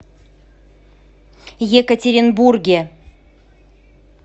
екатеринбурге